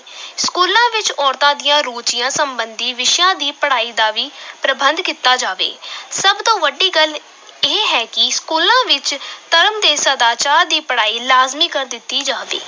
ਸਕੂਲਾਂ ਵਿੱਚ ਔਰਤਾਂ ਦੀਆਂ ਰੁੱਚੀਆਂ ਸੰਬੰਧੀ ਵਿਸ਼ਿਆਂ ਦੀ ਪੜ੍ਹਾਈ ਦਾ ਵੀ ਪ੍ਰਬੰਧ ਕੀਤਾ ਜਾਵੇ ਸਭ ਤੋਂ ਵੱਡੀ ਗੱਲ ਇਹ ਹੈ ਕਿ ਸਕੂਲਾਂ ਵਿੱਚ ਧਰਮ ਤੇ ਸਦਾਚਾਰ ਦੀ ਪੜ੍ਹਾਈ ਲਾਜ਼ਮੀ ਕਰ ਦਿੱਤੀ ਜਾਵੇ।